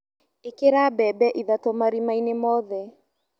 ĩkĩra mbembe ithatũ marimainĩ mothe.